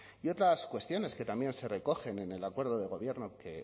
y otras cuestiones que también se recogen en el acuerdo de gobierno que